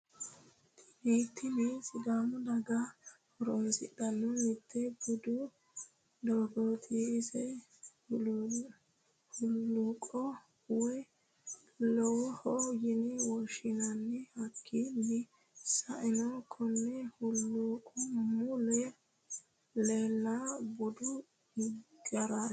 Tini sidàamu daga hoorosidhano mitte budu doogoti. Iso huluuqqo woyi lowaho yine woshinanni hakiino sa'eena konne huliqi mule leelano budu geerati.